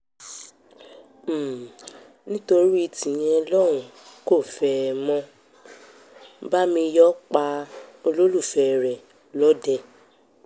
um nítorí tíyẹn lòun kò fẹ́ ẹ mọ bámíyọ̀ pa um olólùfẹ́ rẹ̀ lọ́dẹ